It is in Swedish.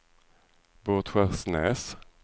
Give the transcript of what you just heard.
Båtskärsnäs